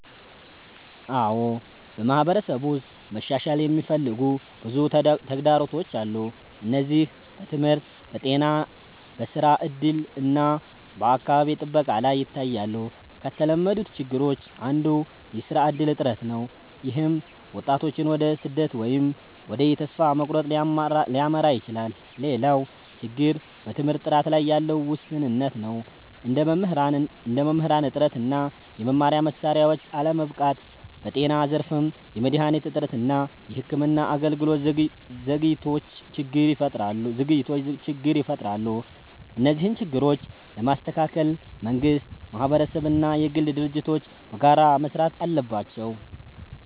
አዎ፣ በማህበረሰብ ውስጥ መሻሻል የሚፈልጉ ብዙ ተግዳሮቶች አሉ። እነዚህ በትምህርት፣ በጤና፣ በስራ እድል እና በአካባቢ ጥበቃ ላይ ይታያሉ። ከተለመዱት ችግሮች አንዱ የስራ እድል እጥረት ነው፣ ይህም ወጣቶችን ወደ ስደት ወይም ወደ ተስፋ መቁረጥ ሊያመራ ይችላል። ሌላው ችግር በትምህርት ጥራት ላይ ያለ ውስንነት ነው፣ እንደ መምህራን እጥረት እና የመማሪያ መሳሪያዎች አለመበቃት። በጤና ዘርፍም የመድሃኒት እጥረት እና የሕክምና አገልግሎት ዘግይቶች ችግር ይፈጥራሉ። እነዚህን ችግሮች ለመስተካከል መንግስት፣ ማህበረሰብ እና የግል ድርጅቶች በጋራ መስራት አለባቸው።